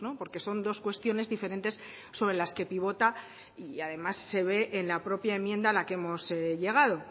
porque son dos cuestiones diferentes sobre las que pivota y además se ve en la propia enmienda a la que hemos llegado